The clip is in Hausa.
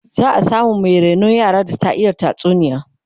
za'a samu Mai rainon yara da ta iya Bada tatsuniya